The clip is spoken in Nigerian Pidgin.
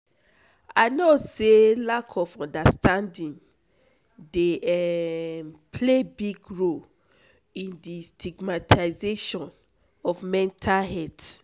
i know say lack of understanding dey um play big role in di stigamtization of mental health.